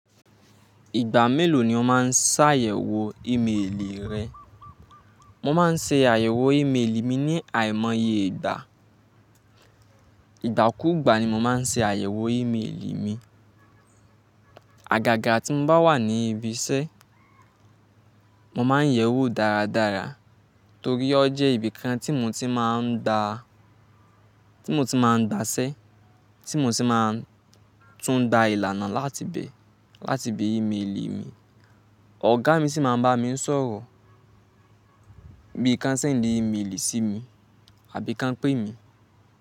Ìgbà mélò ni ó máa ń ṣàyẹ̀wò ímélì rẹ? Mo máa ń ṣe àyẹ̀wò ímélì mi ní àìmọye ìgbà. Ìgbà kúùgbà ni mo máa ń ṣe àyẹ̀wò ímélì mi Àgàgà tí mo bá wà ní ibi iṣẹ́, mo máa ń yẹ̀ ẹ́ wò dáradára torí ó jẹ́ ibi kan tí mo ti máa ń dá, tí mo ti máa ń gba iṣẹ́, tí mo sì máa tún gba ìlànà láti ibẹ̀, láti ibi ímélì mi. Ọ̀gá mi sì máa ń bá mi ń sọ̀rọ̀ bí i kí wọ́n ṣendi ímélì sí mi àbí kọ́n pe mi.